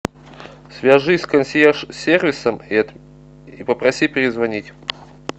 свяжись с консьерж сервисом и попроси перезвонить